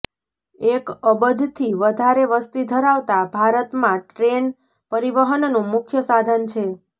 એક અબજથી વધારે વસ્તી ધરાવતા ભારતમાં ટ્રેન પરિવહનનું મુખ્ય સાધન છે